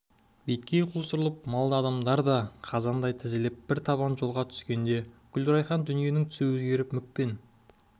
беткей қусырылып мал да адамдар да қаздай тізіліп бір табан жолға түскенде гүлрайхан дүниенің түсі өзгеріп мүк пен